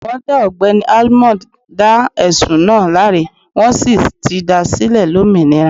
Wọn dá ogbẹ́ni almond dá ẹ̀sùn náà láre, wọ́n sì ti dá a sílẹ̀ lómìnira.